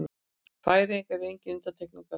Færeyjar eru engin undantekning á því.